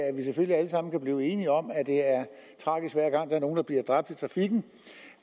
vi være enige om at det er tragisk hver gang der er nogen der bliver dræbt i trafikken